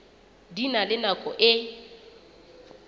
di na le nako e